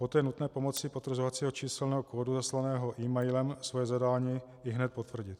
Poté je nutné pomocí potvrzovacího číselného kódu zaslaného emailem svoje zadání ihned potvrdit.